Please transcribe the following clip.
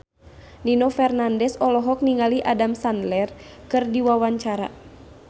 Nino Fernandez olohok ningali Adam Sandler keur diwawancara